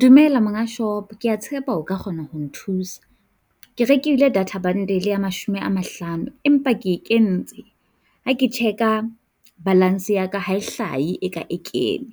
Dumela monga shop, kea tshepa o ka kgona ho nthusa. Ke rekile data bundle ya mashome a mahlano, empa ke kentse, ha ke check-a balance ya ka ha e hlahe eka e kene ,